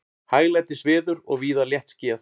Hæglætisveður og víða léttskýjað